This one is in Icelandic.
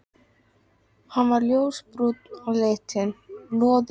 Hann var ljósbrúnn á litinn, loðinn og eyrun löfðu.